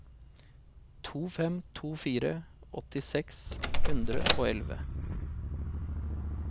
to fem to fire åtti seks hundre og elleve